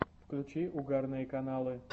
включи угарные каналы